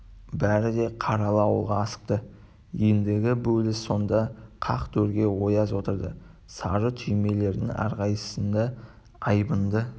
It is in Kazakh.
бәрі де қаралы ауылға асықты ендігі бөліс сонда қақ төрге ояз отырды сары түймелердің әрқайсысында айбынды